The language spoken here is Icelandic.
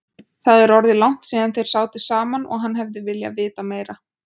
Það er orðið langt síðan þeir sátu saman og hann hefði viljað vita meira.